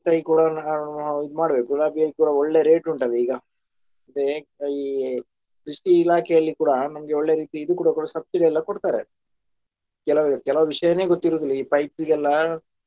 ತೈ ಕೂಡ ಇದ್ ಮಾಡ್ಬೇಕು ಗುಲಾಬಿಯಲ್ಲಿ ಕೂಡಾ ಒಳ್ಳೆ rate ಉಂಟಲ್ಲ ಈಗ ಮತ್ತೆ ಈ ಕೃಷಿ ಇಲಾಖೆಯಲ್ಲಿ ಕೂಡಾ ನನ್ಗೆ ಒಳ್ಳೆ ರೀತಿ ಇದು ಕೂಡ subsidy ಎಲ್ಲಾ ಕೊಡ್ತಾರೆ ಕೆಲ~ ಕೆಲವು ವಿಷಯನೆ ಗೊತ್ತಿರುವುದಿಲ್ಲ ಈ pipes ಗೆಲ್ಲ.